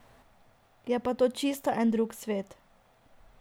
Je pa to čisto en drug svet.